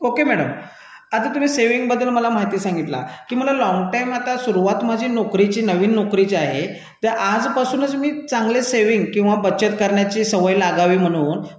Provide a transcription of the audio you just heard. okay madam आता तुम्ही बचत खात्याबद्दल मला माहिती सांगितली की मला बराच वेळ आता सुरुवात आता माझ्या नोकरीची नवीन नोकरी जी आहे आज पासूनच मी चांगले बचत करण्याची सवय लावील म्हणून